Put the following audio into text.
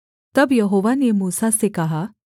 तब यहोवा ने मूसा से कहा